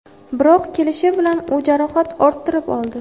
Biroq kelishi bilan u jarohat orttirib oldi.